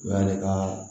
O y'ale ka